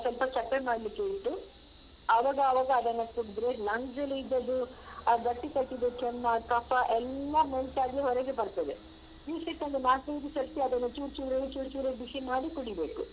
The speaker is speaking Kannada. ಸ್ವಲ್ಪ ಚಪ್ಪೆ ಮಾಡ್ಲಿಕ್ಕೆ ಇಡಿ ಅವಗಾವಾಗ ಅದನ್ನ ಕುಡ್ದ್ರೆ lungs ಲಿ ಇದ್ದದ್ದು ಆ ಗಟ್ಟಿಕಟ್ಟಿದ ಕೆಮ್ಮ ಕಫ ಎಲ್ಲ ಮೆಲ್ಟ್ ಆಗಿ ಹೊರಗೆ ಬರ್ತದೆ ದಿವ್ಸಕ್ಕೊಂದು ನಾಲ್ಕೈ ದು ಸರ್ತಿ ಅದನ್ನು ಚೂರ್ಚೂರೇ ಚೂರ್ಚೂರೇ ಬಿಸಿ ಮಾಡಿ ಕುಡಿಬೇಕು.